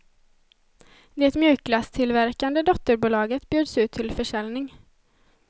Det mjukglasstillverkande dotterbolaget bjöds ut till försäljning.